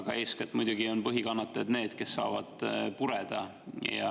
Aga eeskätt muidugi on põhikannatajad need, kes saavad pureda.